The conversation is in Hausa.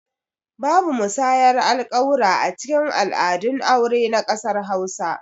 Babu musayar alƙawura acikin al'adun aure na ƙasar hausa